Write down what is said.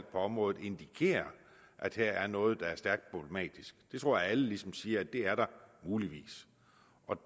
på området indikerer at her er noget der er stærkt problematisk jeg tror at alle ligesom siger at det er det muligvis